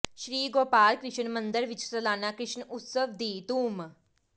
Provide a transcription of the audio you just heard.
ਸ਼੍ਰੀ ਗੋਪਾਲ ਕ੍ਰਿਸ਼ਨ ਮੰਦਰ ਵਿੱਚ ਸਲਾਨਾ ਕ੍ਰਿਸ਼ਨ ਉਤਸਵ ਦੀ ਧੂੰਮ